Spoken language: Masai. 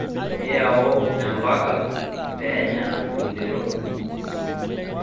iyau empaka peenya idero